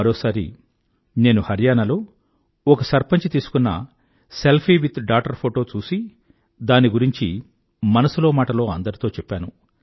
మరోసారి నేను హర్యానా లో ఒక సర్పంచ్ తీసుకున్న సెల్ఫీ విత్ డాటర్ ఫోటో చూసి దాని గురించి మనసులో మాటలో అందరితో చెప్పాను